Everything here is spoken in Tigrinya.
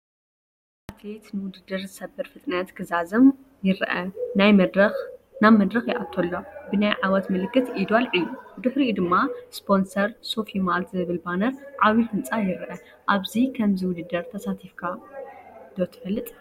ሓደ ኣትሌት ንውድድር ዝሰብር ፍጥነት ክዛዝም ይርአ። ናብ መድረክ ይኣቱ ኣሎ፡ ብናይ ዓወት ምልክት ኢዱ ኣልዒሉ። ብድሕሪኡ ድማ ስፖንሰር “ሶፊ ማልት” ዝብል ባነርን ዓቢ ህንጻን ይርአ። ኣብ ከምዚ ውድድር ተሳቲፍካ ዶ ትፈልጥ?